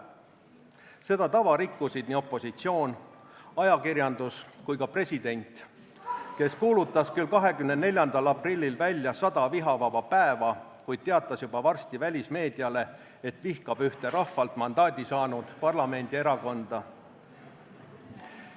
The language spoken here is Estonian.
Seda tava rikkusid nii opositsioon, ajakirjandus kui ka president, kes kuulutas küll 24. aprillil välja sada vihavaba päeva, kuid teatas juba varsti välismeediale, et vihkab ühte rahvalt mandaadi saanud parlamendierakonda.